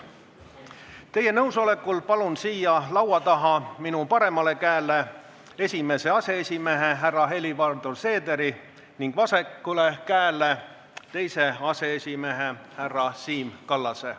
Teie nõusolekul palun siia laua taha minu paremale käele esimese aseesimehe härra Helir-Valdor Seederi ning vasakule käele teise aseesimehe härra Siim Kallase.